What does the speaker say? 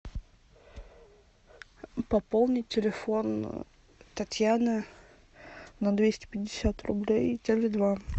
пополнить телефон татьяны на двести пятьдесят рублей теле два